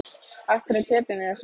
Af hverju töpum við þessum leik?